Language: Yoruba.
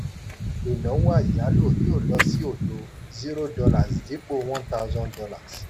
ìnáwó ayálò yóò lọ sí odo zero dollars dípò one thousand dollars